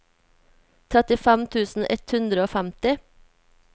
trettifem tusen ett hundre og femti